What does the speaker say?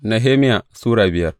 Nehemiya Sura biyar